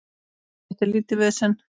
Þetta er lítið vesen.